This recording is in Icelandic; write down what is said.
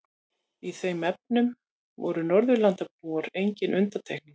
Í þeim efnum voru Norðurlandabúar engin undantekning.